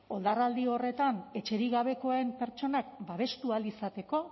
oldarraldi horretan etxerik gabekoen pertsonak babestu ahal izateko